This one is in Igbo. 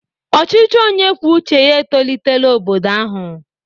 Ọchịchị onye kwuo uche ya etolitela obodo ahụ.